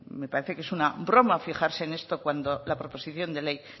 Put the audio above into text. me parece que es una broma fijarse en esto cuando la proposición de ley